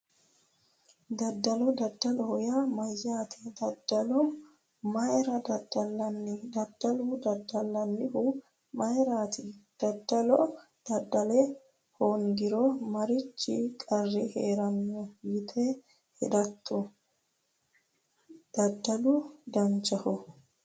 Daddalo daddaloho yaa mayyaate daddalo mayra daddallanni daddalo daddallannihu mayraati daddalo daddala hoongiro marichi qarri heeranno yite hadatto daddalu danchaho